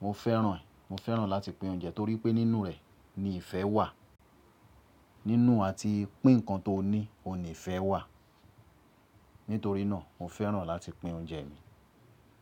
mo fẹ́ràn ẹ, mo fẹ́ràn láti pín oúnjẹ torí pé nínú rẹ̀ ni ìfẹ́ wà. Nínú àti pín nǹkan tó ní òun nìfẹ́ wà. Nítorí náà mo fẹ́ràn láti pín oúnjẹ mi.